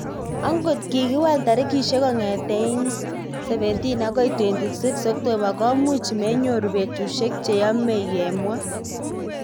"Angot kikiwal tarikishek kong'etei 17 akoi 26 Oktoba komuch menyoru petushek cheyomei", kimwa.